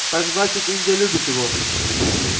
так значит индия любит его